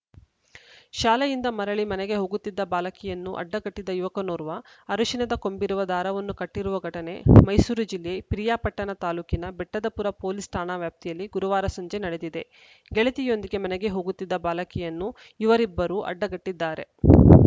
ಶಾಲೆಯಿಂದ ಮರಳಿ ಮನೆಗೆ ಹೋಗುತ್ತಿದ್ದ ಬಾಲಕಿಯನ್ನು ಅಡ್ಡಗಟ್ಟಿದ ಯುವಕನೋರ್ವ ಅರಿಶಿನದ ಕೊಂಬಿರುವ ದಾರವನ್ನು ಕಟ್ಟಿರುವ ಘಟನೆ ಮೈಸೂರು ಜಿಲ್ಲೆ ಪಿರಿಯಾಪಟ್ಟಣ ತಾಲೂಕಿನ ಬೆಟ್ಟದಪುರ ಪೊಲೀಸ್‌ ಠಾಣಾ ವ್ಯಾಪ್ತಿಯಲ್ಲಿ ಗುರುವಾರ ಸಂಜೆ ನಡೆದಿದೆ ಗೆಳತಿಯೊಂದಿಗೆ ಮನೆಗೆ ಹೋಗುತ್ತಿದ್ದ ಬಾಲಕಿಯನ್ನು ಯುವರಿಬ್ಬರು ಅಡ್ಡಗಟ್ಟಿದ್ದಾರೆ